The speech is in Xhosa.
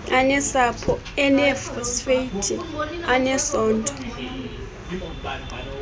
anesepha eneefosfeythi anesondlo